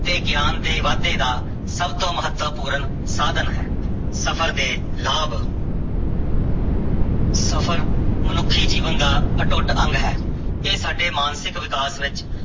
ਤੇ ਗਿਆਨ ਦੇ ਵਾਧੇ ਦਾ ਸਭ ਤੋਂ ਮਹੱਤਵਪੂਰਨ ਸਾਧਨ ਹੈ ਸਫ਼ਰ ਦੇ ਲਾਭ ਸਫ਼ਰ ਮਨੁੱਖੀ ਜੀਵਨ ਦਾ ਅਟੁੱਟ ਅੰਗ ਹੈ, ਇਹ ਸਾਡੇ ਮਾਨਸਿਕ ਵਿਕਾਸ ਵਿੱਚ